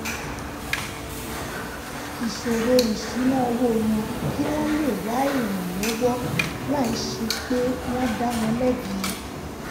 ìṣòro ìṣúnná owó wọn kí wọ́n lè wá ìrànlọ́wọ́ láìsí pé wọ́n ń dá wọn lẹ́bi